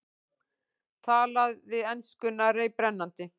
Talaði enskuna reiprennandi.